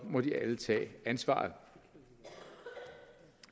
må de alle tage ansvaret